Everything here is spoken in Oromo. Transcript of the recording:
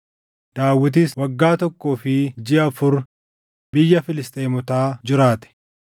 Daawitis waggaa tokkoo fi jiʼa afur biyya Filisxeemotaa jiraate.